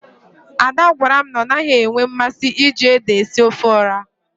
Ada gwara m na ọ naghị enwe mmasị iji ede esi ofe ọha.